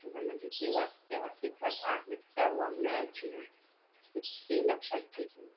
भीती वाटते संबंधीचे वाक्य अस्तित्वात आहे त्या वाङ्मयाची भीती लक्षात घेतली.